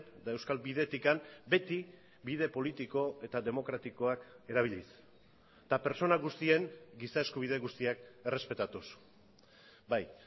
eta euskal bidetik beti bide politiko eta demokratikoak erabiliz eta pertsona guztien giza eskubide guztiak errespetatuz bai